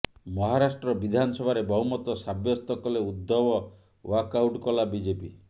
ମହାରାଷ୍ଟ୍ର ବିଧାନସଭାରେ ବହୁମତ ସାବ୍ୟସ୍ତ କଲେ ଉଦ୍ଧବ ୱାକଆଉଟ୍ କଲା ବିଜେପି